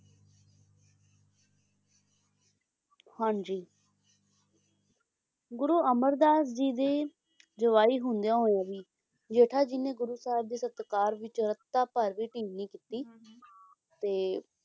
ਹਾਂਜੀ ਗੁਰੂ ਅਮਰਦਾਸ ਜੀ ਦੇ ਜਵਾਈ ਹੁੰਦਿਆਂ ਹੋਇਆ ਵੀ ਜੇਠਾ ਜੀ ਨੇ ਗੁਰੂ ਸਾਹਿਬ ਜੀ ਦੇ ਸਤਿਕਾਰ ਵਿਚ ਰਤਾ ਭਰ ਵੀ ਢਿੱਲ ਨਹੀਂ ਕੀਤੀ ਹਾਂ ਤੇ,